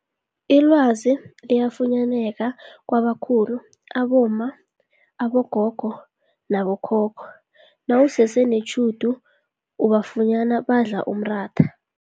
Ilwazi liyafunyaneka kwabakhulu abomma, abogogo nabo khokho nawusese netjhudu ubafunyene badla umratha.